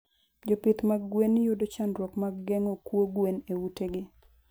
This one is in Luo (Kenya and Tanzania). Jopith this mag gwen yudo chandruok mg gengo kuo gwen eute gi